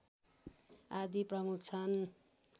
आदि प्रमुख छन्